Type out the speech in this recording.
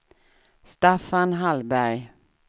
Staffan Hallberg